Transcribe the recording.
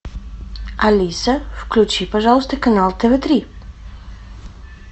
алиса включи пожалуйста канал тв три